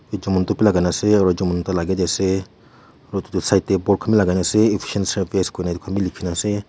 etu montu bhi logai ase Jamen te lagai ni ase etu tu side te pot khan bhi logai ni ase lekhi kina ase.